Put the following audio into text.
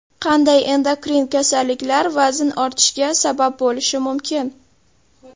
Qanday endokrin kasalliklar vazn ortishiga sabab bo‘lishi mumkin?